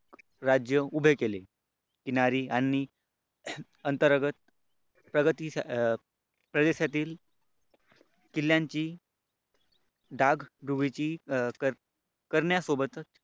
राज्य उभे केले किनारी आणि अंतर्गत प्रगतीसाठी प्रजेसाठी किल्ल्यांची रण्यासोबतच